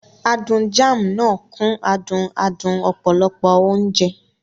Adùn Jam náà kún adùn adùn ọ̀pọ̀lọpọ̀ oúnjẹ.